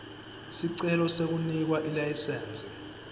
sicelo sekunikwa ilayisensi